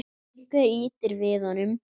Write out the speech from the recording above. Einhver ýtir við honum.